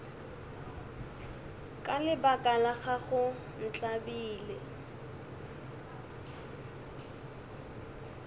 ka lebaka la gago ntlabile